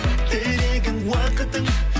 тілегің уақытың